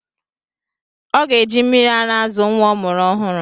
Ọ ga-eji mmịrị ara azụ nwa ọ mụrụ ọhụrụ.